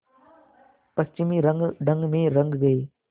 पश्चिमी रंगढंग में रंग गए